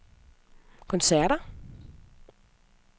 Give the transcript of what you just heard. koncerter